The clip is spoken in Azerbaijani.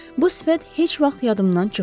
Bu sifət heç vaxt yadımdan çıxmayacaq.